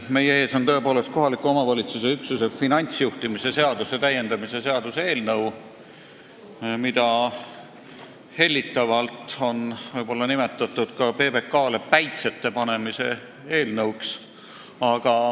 Meie ees on tõepoolest kohaliku omavalitsuse üksuse finantsjuhtimise seaduse täiendamise seaduse eelnõu, mida on hellitavalt nimetatud ka PBK-le päitsete pähepanemise eelnõuks.